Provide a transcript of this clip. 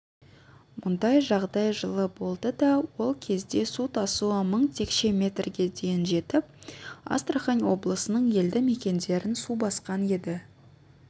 мұндай жағдай жылы болды да ол кезде су тасуы мың текше метрге дейін жетіп астрахань облысының елді мекендерін су басқан еді